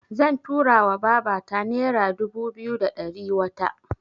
Zan tura wa babata nera dubu biyu da ɗari wata.